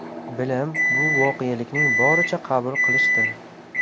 Bilim – bu voqelikni boricha qabul qilishdir.